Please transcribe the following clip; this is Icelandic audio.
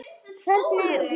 Hvernig hún hló.